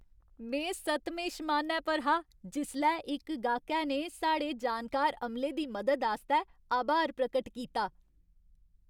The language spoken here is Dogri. में सतमें शमानै पर हा जिसलै इक गाह्कै ने साढ़े जानकार अमले दी मदद आस्तै आभार प्रकट कीता।